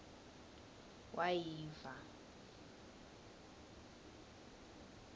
wayiva